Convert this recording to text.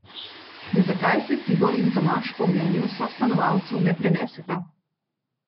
In zakaj se Tibor in Tomaž po mnenju sostanovalcev ne preneseta?